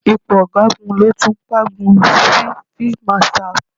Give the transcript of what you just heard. Ipò Ọ̀gágun ló tún kángun sí Field Marshal.